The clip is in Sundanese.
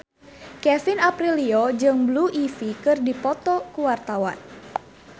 Kevin Aprilio jeung Blue Ivy keur dipoto ku wartawan